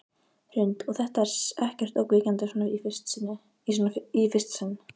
Hrund: Og er þetta ekkert ógnvekjandi svona í fyrsta sinn?